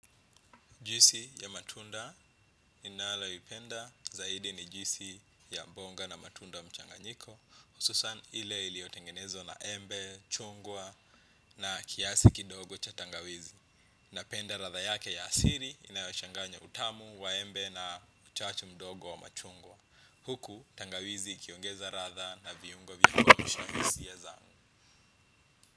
Juisi ya matunda ninaloipenda zaidi ni juisi ya mboga na matunda mchanganyiko hususan ile iliy otengenezwa na embe, chungwa na kiasi kidogo cha tangawizi. Napenda ladha yake ya asili inayochanganya utamu, waembe na uchachu mdogo wa machungwa. Huku tangawizi ikiongeza ladha na viungo vya kuamshahisia zangu.